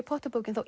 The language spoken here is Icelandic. Potter bókin